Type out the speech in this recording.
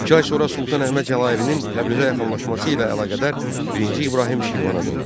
İki ay sonra Sultan Əhməd Cəlairinin Təbrizə yaxınlaşması ilə əlaqədar birinci İbrahim Şirvana döndü.